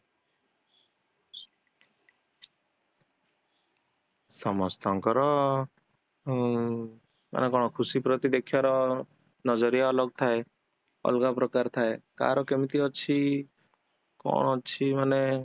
ସମସ୍ତଙ୍କର ଅ ମାନେ କଣ ଖୁସି ପ୍ରତି ଦେଖିବାର ଥାଏ ଅଲଗା ପ୍ରକାର ଥାଏ କାହାର କେମିତି ଅଛି କଣ ଅଛି ମାନେ